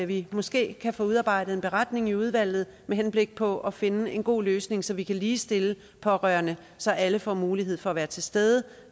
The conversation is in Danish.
vi måske kan få udarbejdet en beretning i udvalget med henblik på at finde en god løsning så vi kan ligestille pårørende så alle får mulighed for at være til stede